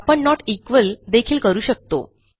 आपण not equal देखील करू शकतो